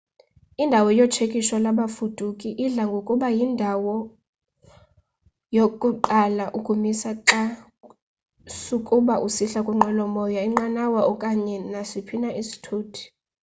indawo yotshekisho lwabafuduki idla ngokuba yindawo yokuqala ukumiswa xa sukuba usihla kwinqwelo moya inqanawa okanye nasiphi na isithuthi